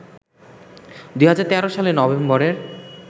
২০১৩ সালের নভেম্বরের